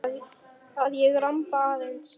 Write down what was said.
Að ég ramba aðeins.